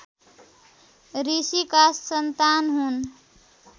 ऋषिका सन्तान हुन्